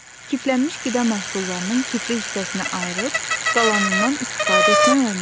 Kiflənnmiş qida məhsullarından kifli hissəsini ayırıb qalanından istifadə etmək olmaz.